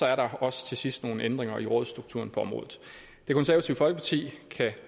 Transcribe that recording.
er der også til sidst nogle ændringer i rådsstrukturen på området det konservative folkeparti kan